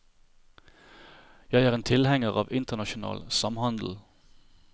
Jeg er tilhenger av internasjonal samhandel.